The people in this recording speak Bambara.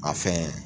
A fɛn